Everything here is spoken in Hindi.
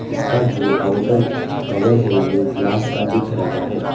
इसका जो आउटर कवर है वह ग्लास का दिख रहा है।